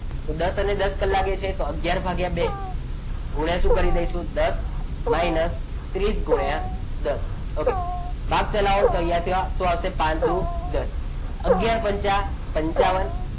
દસ અને દસ કલાકે કલાક કાંટા અને મિનિટ કાંટા વચ્ચે નો ખૂણો કેટલો હશે? તો દસ અને દસ કલાકે એટલે કે અગિયાર ભાગ્યા બે ગુણ્યાશું કરી દઈશું? દસ minus ત્રીસ ગુણ્યા દસ okay ભાગ ચલાવો તો અહીંયા થશે પાંચ દૂ દસ અને અગિયાર પંચા પંચાવન.